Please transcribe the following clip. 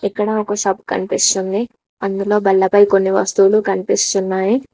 ఇక్కడ ఒక షప్ కనిపిస్తుంది అందులో బల్లపై కొన్ని వస్తువులు కనిపిస్తున్నాయి.